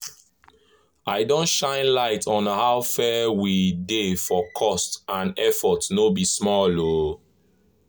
i don shine light on how fair e dey for cost and effort no be small o!